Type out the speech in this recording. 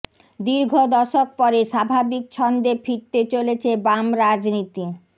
দীর্ঘ দশক পরে স্বাভাবিক ছন্দে ফিরতে চলেছে বাম রাজনীতি